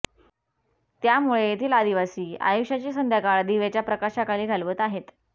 त्यामुळे येथील आदिवासी आयुष्याची संध्याकाळ दिव्याच्या प्रकाशाखाली घालवत आहेत